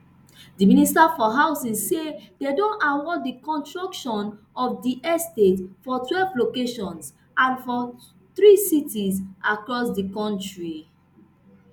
di minister for housing say dem don award di construction of di estates for twelve locations and for three cities across di kontri